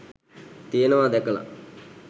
තියෙනවා දැකලා